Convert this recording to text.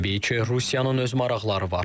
Təbii ki, Rusiyanın öz maraqları var.